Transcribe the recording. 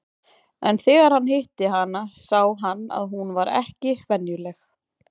En þegar hann hitti hana sá hann að hún var ekki venjuleg.